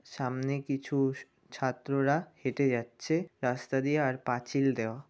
সামনে কিছু স ছাত্ররা হেঁটে যাচ্ছে রাস্তা দিয়ে আর পাঁচিল দেওয়া।